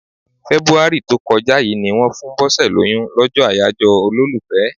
Fẹ́búárì tó kọjá yí ni wón fún Bose lóyún, lọ́jọ́ àyájọ́ olólùfẹ́.